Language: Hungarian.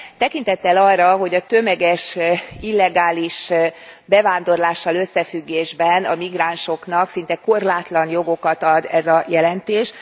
Tekintettel arra, hogy a tömeges illegális bevándorlással összefüggésben a migránsoknak szinte korlátlan jogokat ad ez a jelentés.